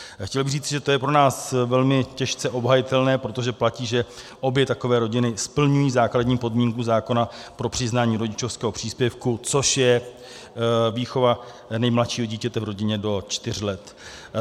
Chtěl bych říct, že to je pro nás velmi těžce obhajitelné, protože platí, že obě takové rodiny splňují základní podmínku zákona pro přiznání rodičovského příspěvku, což je výchova nejmladšího dítěte v rodině do čtyř let.